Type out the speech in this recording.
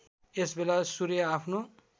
यसबेला सूर्य आफ्नो